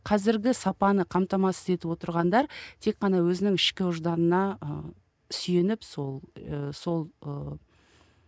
қазіргі сапаны қамтамасыз етіп отырғандар тек қана өзінің ішкі ожданына ы сүйеніп сол ы сол ыыы